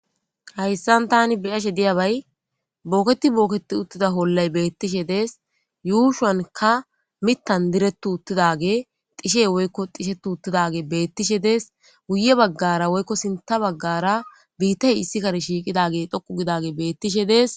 Hayissani tani beyashe diyabayi bokketi boketi uttidda olyi dessi yushani mithani direti uttidageye woyiko dhisheti utidageyi guye baggara woyi sinitha baggara bittayi issi kare shiqi utidageyi dessi